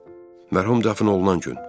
Mərhum dəfn olunan gün.